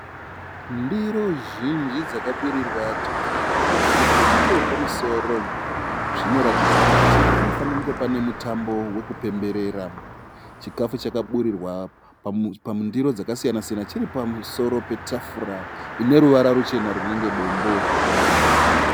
Ndiro zhinji dzakaburirwa tukafu kafu twemhando yepamusoro. Zvinoratidza kuti panofanira kunge pane mutambo wekupemberera. Chikafu chakabirirwa mundiro dzakasiyana siyana chiri pamusoro petafura ine ruvara ruchena runenge dombo zvakare.